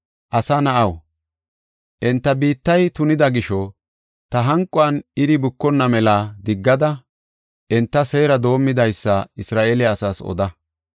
“Asa na7aw, enta biittay tunida gisho, ta hanquwan iri bukonna mela diggada enta seera domidasa Isra7eele asaas oda.